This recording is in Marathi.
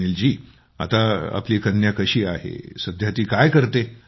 सुनील जी आता आपली कन्या कशी आहे आजकाल ती काय करते